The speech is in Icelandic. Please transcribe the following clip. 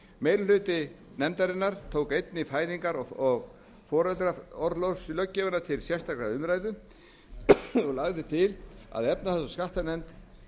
meiri hluti nefndarinnar tók einnig fæðingar og foreldraorlofslöggjöfina til sérstakrar umræðu og lagði til að efnahags og skattanefnd